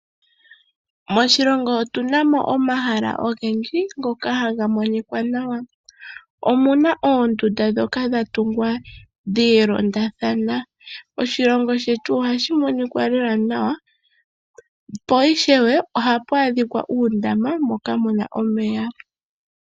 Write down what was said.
Moshilongo otunamo omahala ogendji ngoka haga monika nawa. Omuna oonduda ndhoka dha tungwa dhi ilondathana. Oshilongo shetu ohashi monika nawa lela, paifewe ohapu monika uundama moka muna omeya.